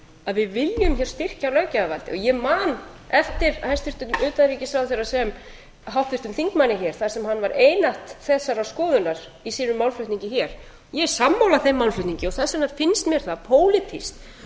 að við viljum hér styrkja löggjafarvaldið ég man eftir hæstvirtum utanríkisráðherra sem háttvirtum þingmanni hér þar sem hann var einatt þessarar skoðunar í sínum málflutningi hér ég er sammála þeim málflutningi og þess vegna finnst mér það pólitískt